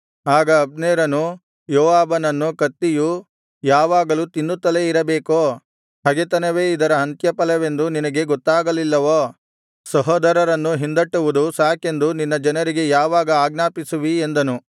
ಆಗ ಅಬ್ನೇರನು ಯೋವಾಬನನ್ನು ಕತ್ತಿಯು ಯಾವಾಗಲೂ ತಿನ್ನುತ್ತಲೇ ಇರಬೇಕೋ ಹಗೆತನವೇ ಇದರ ಅಂತ್ಯಫಲವೆಂದು ನಿನಗೆ ಗೊತ್ತಾಗಲಿಲ್ಲವೋ ಸಹೋದರರನ್ನು ಹಿಂದಟ್ಟುವುದು ಸಾಕೆಂದು ನಿನ್ನ ಜನರಿಗೆ ಯಾವಾಗ ಆಜ್ಞಾಪಿಸುವಿ ಎಂದನು